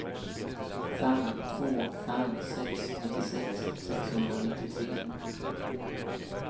fem två fem sex nittiosex sexhundranittiotre